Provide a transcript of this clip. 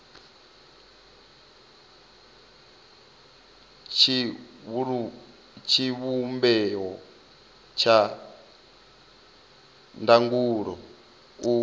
wa tshivhumbeo tsha ndangulo u